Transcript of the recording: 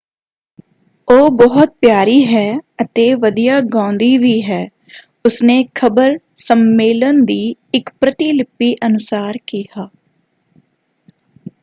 ਉਹ ਬਹੁਤ ਪਿਆਰੀ ਹੈ ਅਤੇ ਵਧੀਆ ਗਾਉਂਦੀ ਵੀ ਹੈ” ਉਸਨੇ ਖ਼ਬਰ ਸੰਮੇਲਨ ਦੀ ਇੱਕ ਪ੍ਰਤਿਲਿਪੀ ਅਨੁਸਾਰ ਕਿਹਾ।